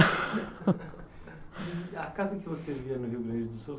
A casa que você via no Rio Grande do Sul